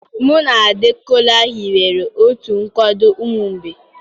Mụ na Ade, Kola hiwere otu nkwado ụmụ mgbei.